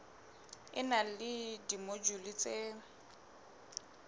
e na le dimojule tse